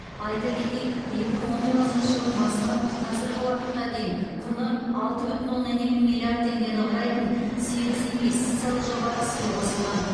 айта кетейік екі мың он тоғызыншы жылдың басынан қазіргі уақытқа дейін құны алты бүтін оннан екі миллиард теңгені құрайтын сегіз инвестициялық жоба іске қосылған